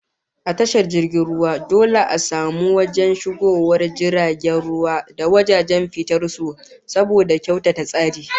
A tashar jirgin ruwa dole a samu wajen shigowar jiragen ruwa da wajen fitar su saboda kyautata tsari